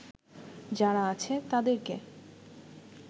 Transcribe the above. যারা আছে তাদেরকে